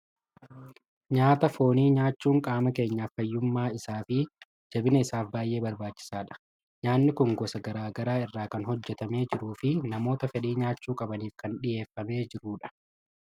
Nyaata foonii nyaachuun qaama keenyaaf fayyummaa isaa fi jabina isaaf baay'ee barbaachisaadha! Nyaanni kun gosa garaa garaa irraa kan hojjetamee jiruu fi namoota fedhii nyaachuu qabaniif kan dhiyeeffamee jiru dha.